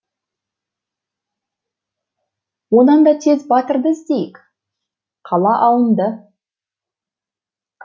онан да тез батырды іздейік қала алынды